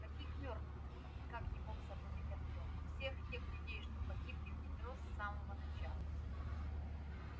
каких мёртвых никак не мог сообразить артем всех тех людей что погибли в метро с самого начала